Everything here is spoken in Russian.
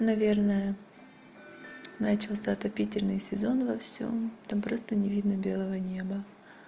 наверное начался отопительный сезон во всём там просто не видно белого неба